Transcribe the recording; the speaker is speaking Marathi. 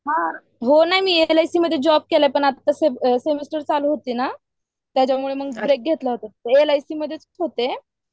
जॉब नाही मी एक एलआयसी मध्ये केलाय मग आता सेमिस्टर चालू होती ना. यासाठी मग ब्रेक घेतला होता ब्रेक घेतले होते.